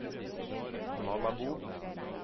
Malabo